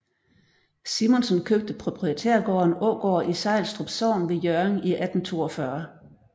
Simonsen købte proprietærgården Ågård i Sejlstrup Sogn ved Hjørring i 1842